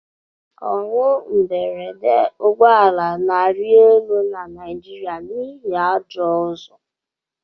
Ọnwụ mberede ụgbọ ala na-arị elu na Naịjirịa n'ihi ajọ ụzọ